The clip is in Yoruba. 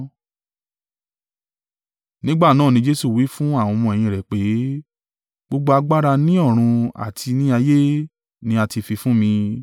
Nígbà náà ni Jesu wí fún àwọn ọmọ-ẹ̀yìn rẹ̀ pé, “Gbogbo agbára ni ọ̀run àti ní ayé ni a ti fi fún mi.